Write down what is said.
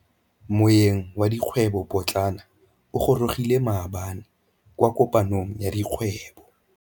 Moêng wa dikgwêbô pôtlana o gorogile maabane kwa kopanong ya dikgwêbô.